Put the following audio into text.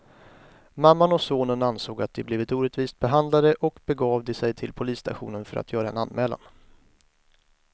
Mamman och sonen ansåg att de blivit orättvist behandlade och begav de sig till polisstationen för att göra en anmälan.